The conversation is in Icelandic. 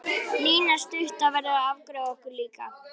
Lína stutta verður að afgreiða okkur líka.